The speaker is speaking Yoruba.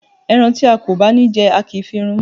Ẹran tí a ò bá ní jẹ, a kì í fi run imú.